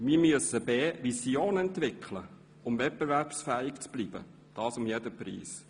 Wir müssen Visionen entwickeln, um wettbewerbsfähig zu bleiben, und das um jeden Preis.